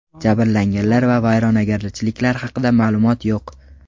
Jabrlanganlar va vayronagarchiliklar haqida ma’lumot yo‘q.